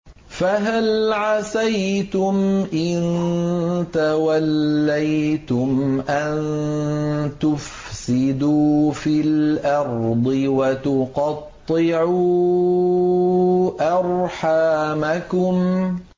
فَهَلْ عَسَيْتُمْ إِن تَوَلَّيْتُمْ أَن تُفْسِدُوا فِي الْأَرْضِ وَتُقَطِّعُوا أَرْحَامَكُمْ